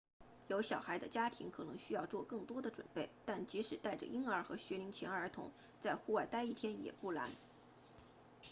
有小孩的家庭可能需要做更多的准备但即使带着婴儿和学龄前儿童在户外待一天也不难